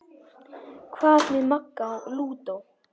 Hvað með Magga lúdó?